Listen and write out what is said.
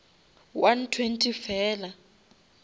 one twenty fela